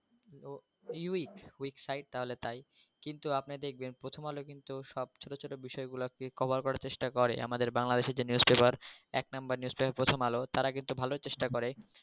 website তাহলে তাই কিন্তু আপনি দেখবেন প্রথমআলো কিন্তু সব ছোট ছোট বিষয়গুলো cover করার চেষ্টা করে আমাদের বাংলাদেশের যে news pepper এক নাম্বার news pepper প্রথমআলো তারা কিন্তু ভালোই চেষ্টা করে